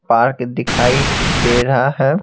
Park दिखाई दे रहा है।